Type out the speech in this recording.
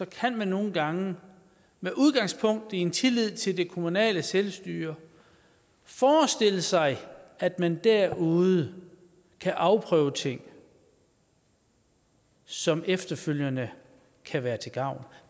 kan man nogle gange med udgangspunkt i en tillid til det kommunale selvstyre forestille sig at man derude kan afprøve ting som efterfølgende kan være til gavn